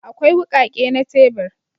Akwai wukake na tebur